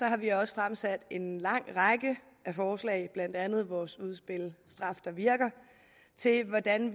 har vi også fremsat en lang række forslag blandt andet vores udspil straf der virker til hvordan